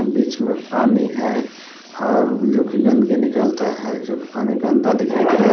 बीच में पानी है और जोकि गंदगी निकलता है जोकि पानी गंदा दिखाई दे रहा--